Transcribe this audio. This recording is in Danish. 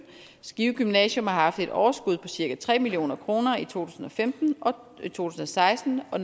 skive gymnasium har haft et overskud på cirka tre million kroner i to tusind og femten og to tusind og seksten og